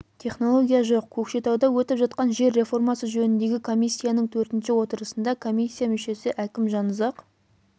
технология жоқ көкшетауда өтіп жатқан жер реформасы жөніндегі комиссияның төртінші отырысында комиссия мүшесі әкім жанұзақ